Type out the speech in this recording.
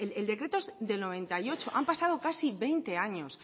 el decreto es del noventa y ocho han pasado casi veinte años